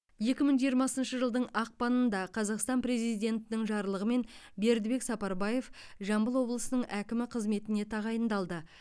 екі мың жиырмасыншы жылдың ақпанында қазақстан президентінің жарлығымен бердібек сапарбаев жамбыл облысының әкімі қызметіне тағайындалды